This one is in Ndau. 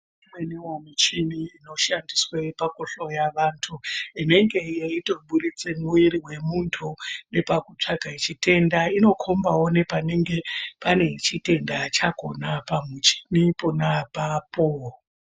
Imweni michini inoshandiswe pakuhloya vantu inenge yeitobudise mwiri wemuntu nepakutsvaga chitenda inokombawo nepanenge pane chitenda chakhona pamuchini pona apapo.